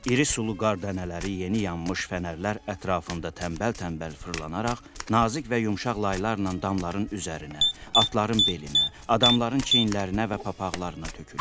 İri sulu qar dənələri yeni yanmış fənərlər ətrafında tənbəl-tənbəl fırlanaraq nazik və yumşaq laylarla damların üzərinə, atların belinə, adamların çiyinlərinə və papaqlarına tökülür.